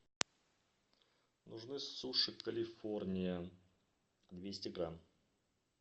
нужны суши калифорния двести грамм